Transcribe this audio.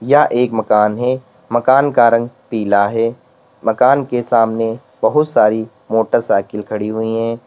यह एक मकान है मकान का रंग पीला है मकान के सामने बहुत सारी मोटरसाइकिल खड़ी हुई है।